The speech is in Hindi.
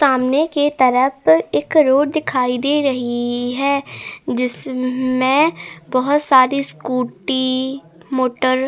सामने के तरफ एक रोड दिखाई दे रही है जिसमें बहुत सारी स्कूटी मोटर --